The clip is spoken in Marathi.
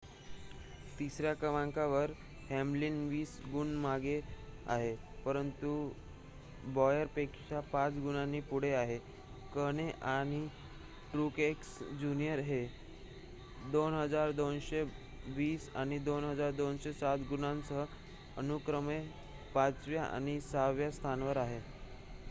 तिसर्‍या क्रमांकावर हॅमलिन वीस गुण मागे आहे परंतु बॉयरपेक्षा पाच गुणांनी पुढे आहे कहणे आणि ट्रूएक्स ज्युनियर हे 2,220 आणि 2,207 गुणांसह अनुक्रमे पाचव्या आणि सहाव्या स्थानावर आहेत